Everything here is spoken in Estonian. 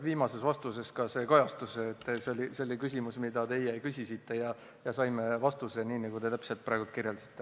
Viimases vastuses ka see kajastus, et see oli küsimus, mida teie küsisite, ja me saime vastuse – täpselt nii, nagu te praegu kirjeldasite.